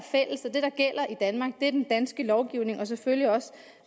i danmark er den danske lovgivning og selvfølgelig også